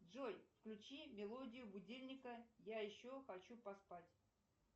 джой включи мелодию будильника я еще хочу поспать